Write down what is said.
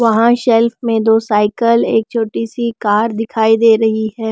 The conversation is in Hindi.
वहां शेल्फ में दो साइकिल एक छोटी सी कार दिखाई दे रही है।